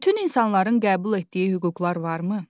Bütün insanların qəbul etdiyi hüquqlar varmı?